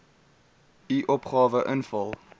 u opgawe invul